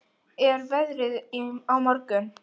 Sumarlína, hvernig er veðrið á morgun?